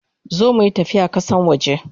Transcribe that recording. Zo muyi tafiya kasan waje!